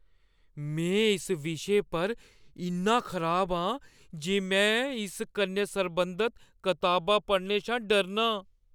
में इस विशे पर इन्ना खराब आं जे में इस कन्नै सरबंधत कताबा पढ़ने शा डरनां।